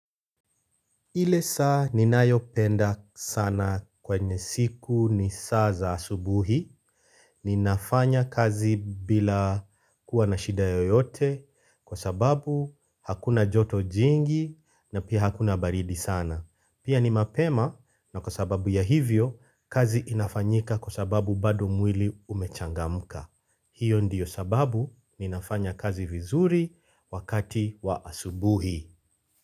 Ile saa ni nayo penda sana kwenye siku ni saa za asubuhi, ni nafanya kazi bila kuwa na shida yoyote kwa sababu hakuna joto jingi na pia hakuna baridi sana. Pia ni mapema na kwa sababu ya hivyo, kazi inafanyika kwa sababu bado mwili umechangamuka. Hiyo ndiyo sababu ni nafanya kazi vizuri wakati wa asubuhi.